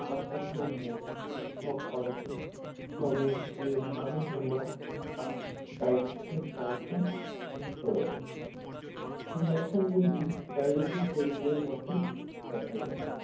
বা শুকনো মুখ অনুভব করে তবে এর মানে হল আপনার diabetes র সমস্যার রয়েছে, এই লক্ষণ গুলি diabetes রোগীদের মধ্যে দেখা যায়